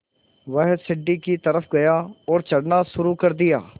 वह सीढ़ी की तरफ़ गया और चढ़ना शुरू कर दिया